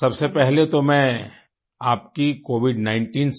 सबसे पहले तो मैं आपकी covid19 से